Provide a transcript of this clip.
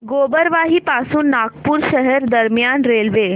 गोबरवाही पासून नागपूर शहर दरम्यान रेल्वे